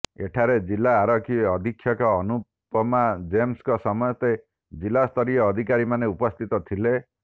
ଏଠାରେ ଜିଲା ଆରଖି ଅଧିକ୍ଷକ ଅନୁପମା ଜେମ୍ସଙ୍କ ସମେତ ଜିଲ୍ଲା ସ୍ତରୀୟ ଅଧିକାରୀ ମାନେ ଉପସ୍ଥିତ ଥିଲେ